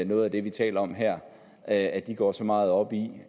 noget af det vi taler om her at at de går så meget op i